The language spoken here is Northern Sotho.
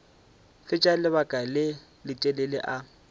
fetša lebaka le letelele a